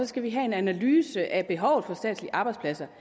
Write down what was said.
skal have en analyse af behovet for statslige arbejdspladser